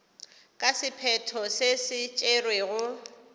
ka sephetho se se tšerwego